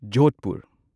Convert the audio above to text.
Jodhpur